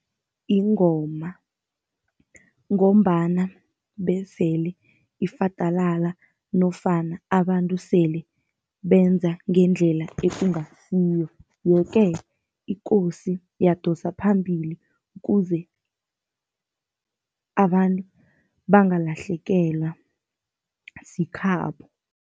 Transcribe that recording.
Ingoma ngombana besele ifadalala nofana abantu sele benza ngendlela ekungasiyo. Ye-ke ikosi yadosa phambili kuze abantu bangalahlekelwa sikhabo.